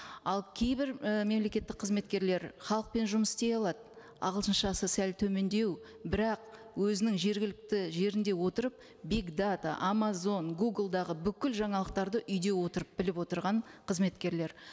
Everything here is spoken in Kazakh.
ал кейбір і мемлекеттік қызметкерлер халықпен жұмыс істей алады ағылшыншасы сәл төмендеу бірақ өзінің жергілікті жерінде отырып биг дата амазон гуглдағы бүкіл жаңалықтарды үйде отырып біліп отырған қызметкерлер